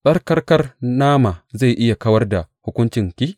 Tsarkakar nama zai iya kawar da hukuncinki?